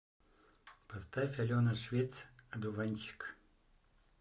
поставь алена швец одуванчик